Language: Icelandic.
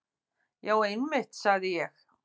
Já einmitt, sagði ég.